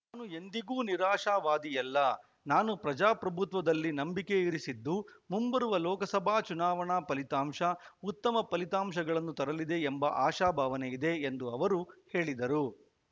ನಾನು ಎಂದಿಗೂ ನಿರಾಶವಾದಿಯಲ್ಲ ನಾನು ಪ್ರಜಾಪ್ರಭುತ್ವದಲ್ಲಿ ನಂಬಿಕೆಯಿರಿಸಿದ್ದು ಮುಂಬರುವ ಲೋಕಸಭಾ ಚುನಾವಣಾ ಫಲಿತಾಂಶ ಉತ್ತಮ ಫಲಿತಾಂಶಗಳನ್ನು ತರಲಿದೆ ಎಂಬ ಆಶಾಭಾವನೆ ಇದೆ ಎಂದು ಅವರು ಹೇಳಿದರು